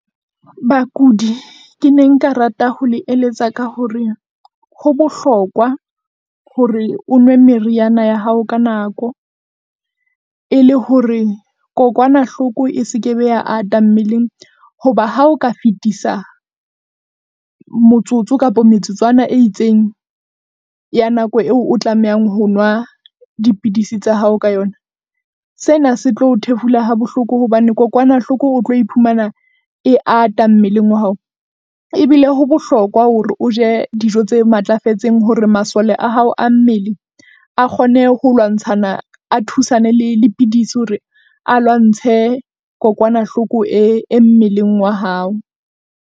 Bakudi ke ne nka rata ho le eletsa ka hore ho bohlokwa hore o nwe meriana ya hao ka nako e le hore kokwanahloko e se kebe ya ata mmeleng. Hoba ha o ka fetisa motsotso kapa metsotswana e itseng ya nako eo o tlamehang ho nwa dipidisi tsa hao ka yona. Sena se tlo o thefula ha bohloko hobane kokwanahloko o tlo iphumana e ata mmeleng wa hao. Ebile ho bohlokwa hore o je dijo tse matlafetseng. Hore masole a hao a mmele a kgone ho lwantshana, a thusane le le dipidisi hore a lwantshe kokwanahloko e, e mmeleng wa hao.